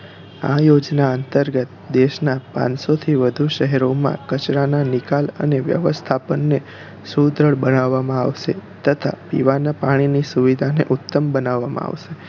આ યોજના અંતર્ગત દેશનાં પાંચસો થી વધુ શહેરો માં કચરા ના નિકાલ અને વ્યવસ્થાપન ને સુદ્ધાર બનાવવા માં આવશે તથા પીવાના પાણી ની સુવિધા ને ઉત્તમ બનાવવા માં આવશે